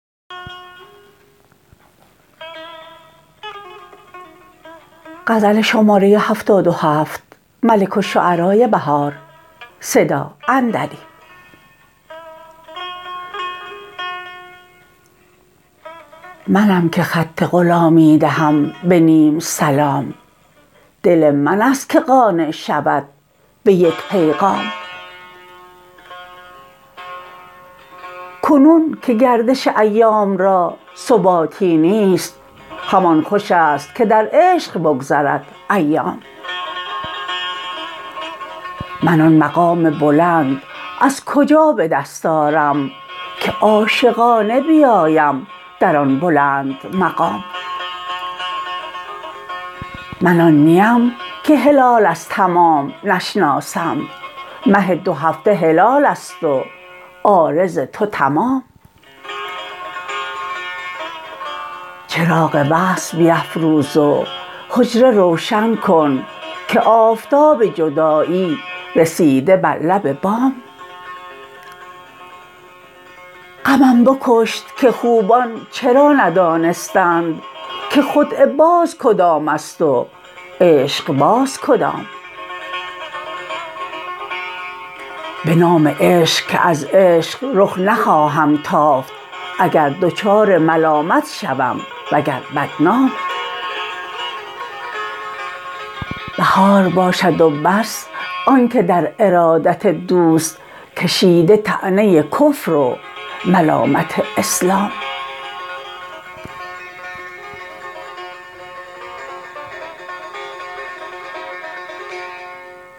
منم که خط غلامی دهم به نیم سلام دل من است که قانع شود به یک پیغام کنون که گردش ایام را ثباتی نیست همان خوشست که در عشق بگذرد ایام من آن مقام بلند از کجا به دست آرم که عاشقانه بیایم در آن بلند مقام من آن نی ام که هلال از تمام نشناسم مه دو هفته هلال است و عارض تو تمام چراغ وصل بیفروز و حجره روشن کن که آفتاب جدایی رسیده بر لب بام غمم بکشت که خوبان چرا ندانستند که خدعه باز کدامست و عشق باز کدام به نام عشق که از عشق رخ نخواهم تافت اگر دچار ملامت شوم و گر بدنام بهار باشد و بس آن که در ارادت دوست کشیده طعنه کفر و ملامت اسلام